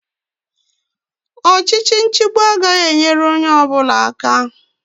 Ọchịchị nchịgbu agaghị enyere onye ọbụla aka